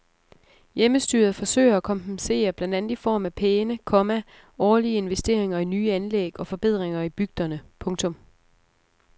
Hjemmestyret forsøger at kompensere blandt andet i form af pæne, komma årlige investeringer i nye anlæg og forbedringer i bygderne. punktum